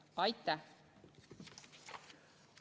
Aitäh!